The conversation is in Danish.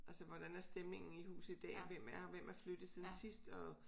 Altså hvordan er stemningen i huset i dag og hvem er her hvem er flyttet siden sidst og